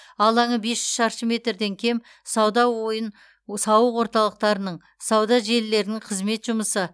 алаңы бес жүз шаршы метрден кем сауда ойын сауық орталықтарының сауда желілерінің қызметі жұмысы